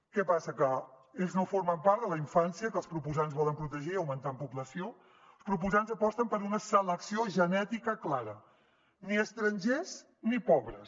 què passa que ells no formen part de la infància que els proposants volen protegir augmentant població els proposants aposten per una selecció genètica clara ni estrangers ni pobres